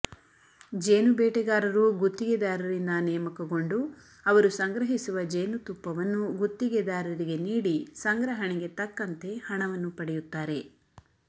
ಜೇನು ಬೇಟೆಗಾರರು ಗುತ್ತಿಗೆದಾರರಿಂದ ನೇಮಕಗೊಂಡು ಅವರು ಸಂಗ್ರಹಿಸುವ ಜೇನುತುಪ್ಪವನ್ನು ಗುತ್ತಿಗೆದಾರರಿಗೆ ನೀಡಿ ಸಂಗ್ರಹಣೆಗೆ ತಕ್ಕಂತೆ ಹಣವನ್ನು ಪಡೆಯುತ್ತಾರೆ